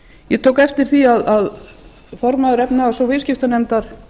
ég tók eftir því að formaður efnahags og viðskiptanefndar